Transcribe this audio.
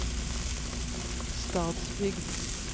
Stadsbygd